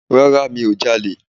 Rárá mi ò ja'lè